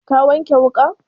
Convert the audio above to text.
Ka wanke wuƙan?